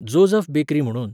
Joseph bakery म्हुणून.